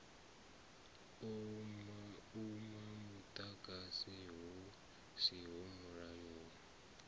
uma muḓagasi hu siho mulayoni